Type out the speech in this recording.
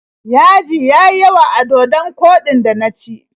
Yaji ya yi yawa a dodon koɗin da na ci.